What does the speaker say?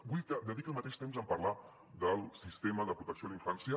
vull que dediqui el mateix temps en parlar del sistema de protecció a la infància